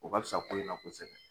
O ka bisa ko in na kosɛbɛ